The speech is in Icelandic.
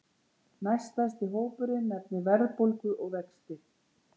Næststærsti hópurinn nefnir verðbólgu og vexti